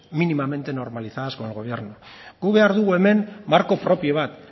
mínimamente normalizadas con el gobierno gu behar dugu hemen marko propio bat